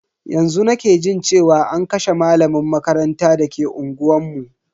Yanzu nake jin cewa an kashe malamin makaranta dake unguwanmu.